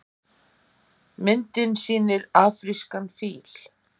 Myndin sýnir afrískan fíl.